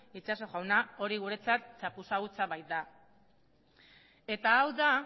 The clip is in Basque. itxaso jauna hori guretzat txapuza hutsa baita eta hau da